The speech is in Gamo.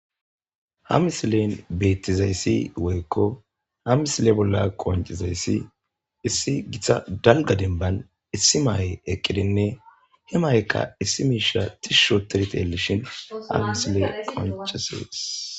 ha misileyn beettizayssi woykko ha misile bolla qoncizayssi issi githa dalga denban issi maaye eqqidinne hi maykka issi miishira tishshoterit elishin ha misile qoncisees